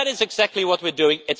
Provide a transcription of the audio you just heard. That is exactly what we are doing.